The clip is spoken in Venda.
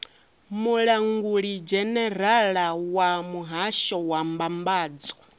mulangulidzhenerala wa muhasho wa mbambadzo